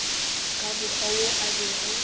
ka mokgwa wo a bego